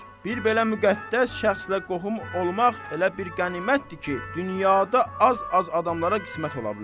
Bir belə müqəddəs şəxslə qohum olmaq elə bir qənimətdir ki, dünyada az-az adamlara qismət ola bilər.